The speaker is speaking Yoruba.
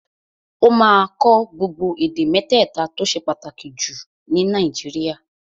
Ó máa kọ́ gbogbo èdè mẹ́tẹ̀ta tó ṣe pàtàkì jù ní Nàìjíríà